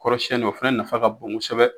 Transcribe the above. Kɔrɔsiyɛnin o fɛnɛ nafa ka bon kosɛbɛ.